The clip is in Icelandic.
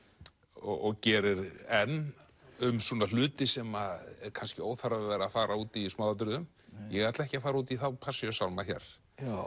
og gerir enn um svona hluti sem er kannski óþarfi að vera að fara út í í smáatriðum ég ætla ekki að fara út í þá Passíusálma hér